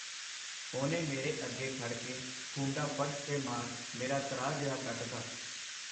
ਉਹਨੇ ਮੇਰੇ ਅੱਗੇ ਖੜਕੇ ਖੂੰਡਾ ਫ਼ਰਸ਼ ਤੇ ਮਾਰ, ਮੇਰਾ ਤ੍ਰਾਹ ਜੇਹਾ ਕੱਢਤਾ.